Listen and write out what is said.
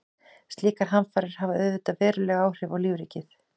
Slíkar hamfarir hafa auðvitað veruleg áhrif á lífríkið.